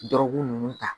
Dɔrɔgu ninnu ta